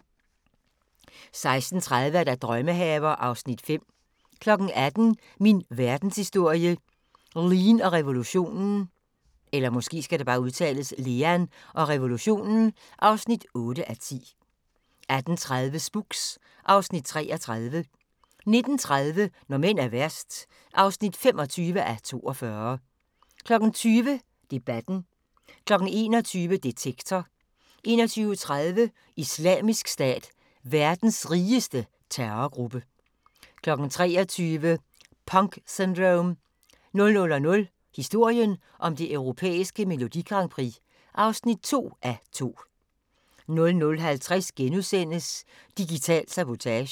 16:30: Drømmehaver (Afs. 5) 18:00: Min verdenshistorie - Lean og revolutionen (8:10) 18:30: Spooks (Afs. 33) 19:30: Når mænd er værst (25:42) 20:00: Debatten 21:00: Detektor 21:30: Islamisk Stat – verdens rigeste terrorgruppe 23:00: Punk Syndrome 00:00: Historien om det europæiske Melodi Grand Prix (2:2) 00:50: Digital sabotage *